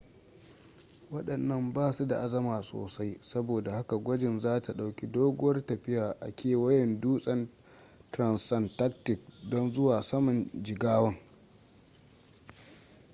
wadannan ba su da azama sosai saboda haka gwajin za ta dauki doguwar tafiya a kewayen dutsen transantarctic don zuwa saman jigawan